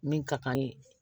Min ka kan ye